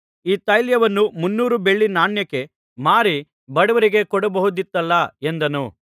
ಈ ತೈಲವನ್ನು ಮುನ್ನೂರು ಬೆಳ್ಳಿನಾಣ್ಯಕ್ಕೆ ಮಾರಿ ಬಡವರಿಗೆ ಕೊಡಬಹುದಿತ್ತಲ್ಲಾ ಎಂದನು